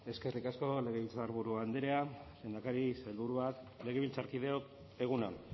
eskerrik asko legebiltzarburu andrea lehendakari sailburuak legebiltzarkideok egun on